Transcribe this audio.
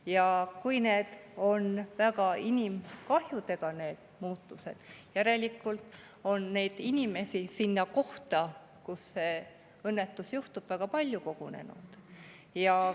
Ja kui need muutused on väga inimkahjudega, siis järelikult on inimesi sinna kohta, kus see õnnetus juhtub, väga palju kogunenud.